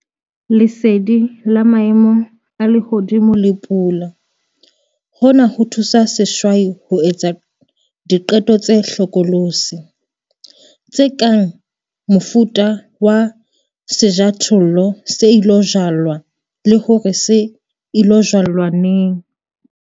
Lesedi la maemo a lehodimo le pula- Hona ho thusa sehwai ho etsa diqeto tse hlokolosi, tse kang, mofuta wa sejothollo se ilo jalwa, le hore se ilo jalwa neng.